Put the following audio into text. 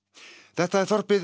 þetta er þorpið